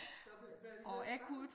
Ja blev blev I så bange?